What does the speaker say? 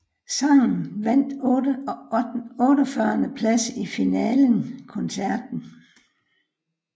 Sangen vandt 48 plads i finalen koncerten